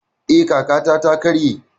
Eh, ƙafata ta karye